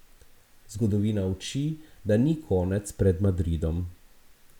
Zgodovina uči, da ni konec pred Madridom.